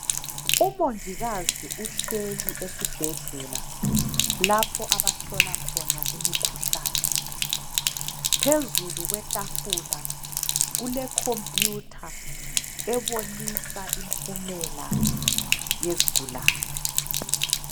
Umongikazi uhleLi esibhedlela lapho abhlola khona imikhuhlane phezulu kwetafula kule khompuyutha ebonisa impumela yezigulane